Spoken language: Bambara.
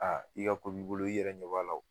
Aa i ka ko b'i bolo i yɛrɛ ɲɛ b'a la o